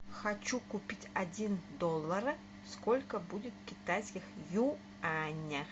хочу купить один доллар сколько будет китайских юаня